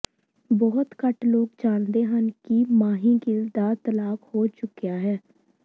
ਬਹੁਤ ਘੱਟ ਲੋਕ ਜਾਣਦੇ ਹਨ ਕਿ ਮਾਹੀ ਗਿੱਲ ਦਾ ਤਲਾਕ ਹੋ ਚੁੱਕਿਆ ਹੈ